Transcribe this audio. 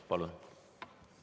Palun!